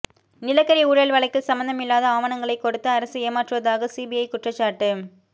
நிலக்கரி ஊழல் வழக்கில் சம்பந்தமில்லாத ஆவணங்களை கொடுத்து அரசு ஏமாற்றுவதாக சிபிஐ குற்றச்சாட்டு